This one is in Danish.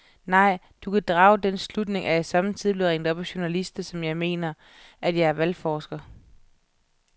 Nej, du kan drage den slutning, at jeg sommetider bliver ringet op af journalister, som mener, at jeg er valgforsker.